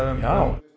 já